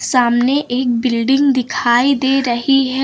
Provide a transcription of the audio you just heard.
सामने एक बिल्डिंग दिखाई दे रही है।